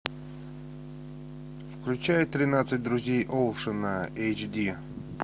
включай тринадцать друзей оушена эйч ди